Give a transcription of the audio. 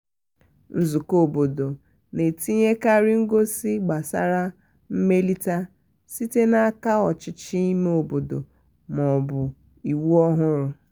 nzukọ obodo na-etinyekarị ngosi gbasara mmelite site n'aka ọchịchị ime obodo ma ọ bụ iwu ọhụrụ.